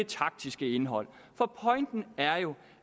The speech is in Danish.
taktiske indhold for pointen er jo